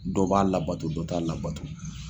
Dɔ b'a labato dɔ t'a labato.